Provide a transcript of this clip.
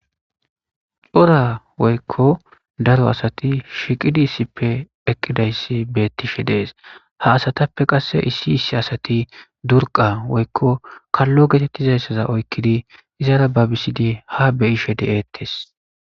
Cora woyko daro asati shiiqidi issipe utidays betishe des ha asatpe qase issi issi asati durqa woyko kalo getetizaysa oykidi izara babisidi ha beyishe detes